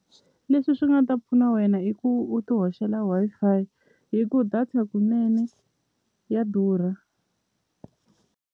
Leswi swi nga ta pfuna wena i ku u ti hoxela Wi-Fi hi ku data kunene ya durha.